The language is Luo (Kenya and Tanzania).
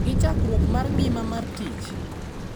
Gi chakruok mar ngima mar tich.